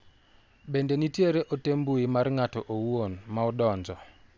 Bende nitiere ote mbui mar ng'ato owuon ma odonjo?